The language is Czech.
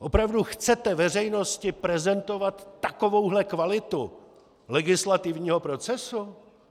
Opravdu chcete veřejnosti prezentovat takovouhle kvalitu legislativního procesu?